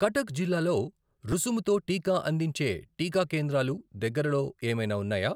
కటక్ జిల్లాలో రుసుముతో టీకా అందించే టీకా కేంద్రాలు దగ్గరలో ఏమైనా ఉన్నాయా?